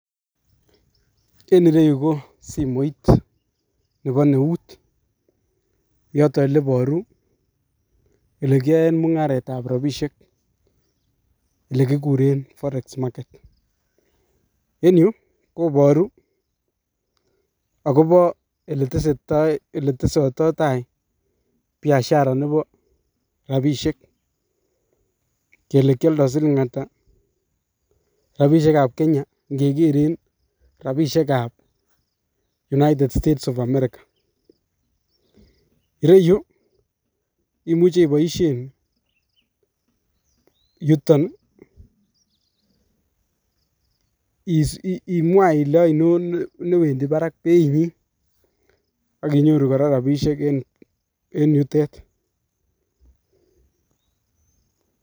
En ireyu ko simoit nebo neut yoto eleboru elekiyoen mung'aretab rabishek elee kikuren forex market, en yuu koboru akobo eletesetai eletesototai biashara nebo rabishek kelee kioldo siling'ata rabishekab Kenya ng'e keren rabishekab United State of America, ireyuu imuche iboishen yuton imwaa ilee ainon newendi barak beinyin ak inyoru kora rabishek en yutet.